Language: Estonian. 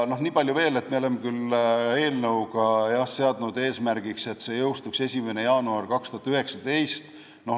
Niipalju veel, et me oleme seadnud eesmärgiks, et eelnõu jõustuks 1. jaanuaril 2019.